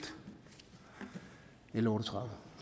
l otte og tredive